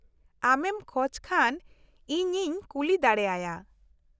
ᱟᱢᱮᱢ ᱠᱷᱚᱡ ᱠᱷᱟᱱ ᱤᱧᱤᱧ ᱠᱩᱞᱤ ᱫᱟᱲᱮᱭᱟᱭᱟ ᱾